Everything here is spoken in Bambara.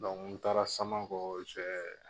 n taara Samankɔ